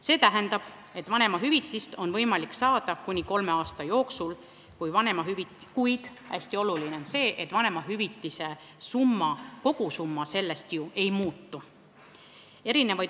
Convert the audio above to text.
See tähendab, et vanemahüvitist on võimalik saada kuni kolme aasta jooksul, kuid hästi oluline on see, et vanemahüvitise kogusumma sellest ei muutu.